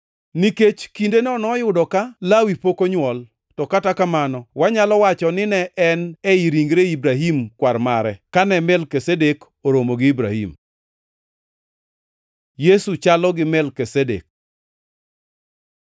nikech kindeno noyudo ka Lawi pok onywol, to kata kamano wanyalo wacho nine en ei ringre Ibrahim kwar mare kane Melkizedek oromo gi Ibrahim. Yesu chalo gi Melkizedek